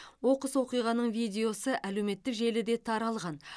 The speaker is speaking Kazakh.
оқыс оқиғаның видеосы әлеуметтік желіде таралған